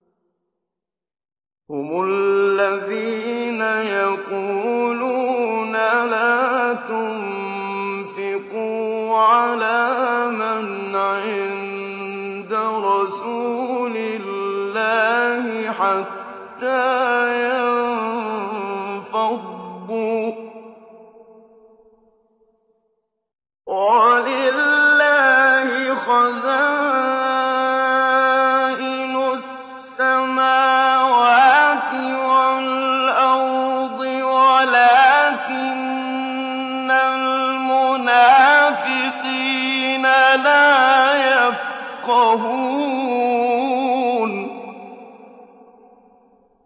هُمُ الَّذِينَ يَقُولُونَ لَا تُنفِقُوا عَلَىٰ مَنْ عِندَ رَسُولِ اللَّهِ حَتَّىٰ يَنفَضُّوا ۗ وَلِلَّهِ خَزَائِنُ السَّمَاوَاتِ وَالْأَرْضِ وَلَٰكِنَّ الْمُنَافِقِينَ لَا يَفْقَهُونَ